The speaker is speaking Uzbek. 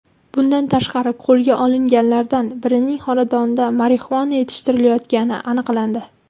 Bundan tashqari, qo‘lga olinganlardan birining xonadonida marixuana yetishtirilayotgani aniqlandi.